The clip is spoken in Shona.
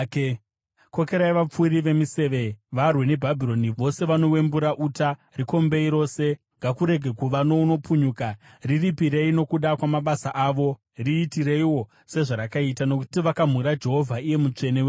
“Kokerai vapfuri vemiseve varwe neBhabhironi, vose vanowembura uta. Rikombei rose; ngakurege kuva nounopukunyuka. Riripirei nokuda kwamabasa avo; riitireiwo sezvarakaita. Nokuti vakamhura Jehovha, Iye Mutsvene weIsraeri.